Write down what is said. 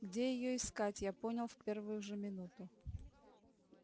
где её искать я понял в первую же минуту